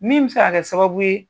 Min bɛ se ka kɛ sababu ye,